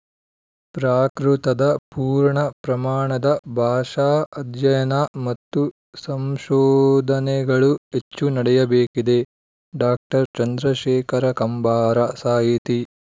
ಪ್ರಾಕೃತದ ಪೂರ್ಣ ಪ್ರಮಾಣದ ಭಾಷಾ ಅಧ್ಯಯನ ಮತ್ತು ಸಂಶೋಧನೆಗಳು ಹೆಚ್ಚು ನಡೆಯಬೇಕಿದೆ ಡಾಕ್ಟರ್ ಚಂದ್ರಶೇಖರ ಕಂಬಾರ ಸಾಹಿತಿ